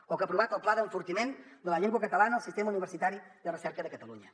o que ha aprovat el pla d’enfortiment de la llengua catalana al sistema universitari de recerca de catalunya